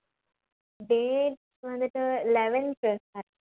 date வந்துட்டு eleventh